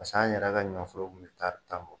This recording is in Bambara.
Pas'an yɛrɛ ka ɲɔ foro kun bɛ tari tan bɔ